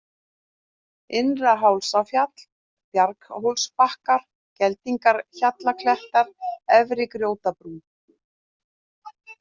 Innra-Hálsafjall, Bjarghólsbakkar, Geldingahjallaklettar, Efri-Grjótbrún